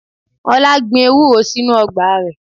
Ọlá gbìn Ewúro sínú ọgbà rẹ.